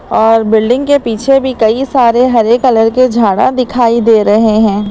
और बिल्डिंग के पीछे भी कई सारे हरे कलर के झाड़ा दिखाई दे रहे हैं।